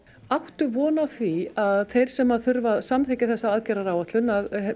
áttu von á því að þeir sem þurfa að samþykkja þessa aðgerðaráætlun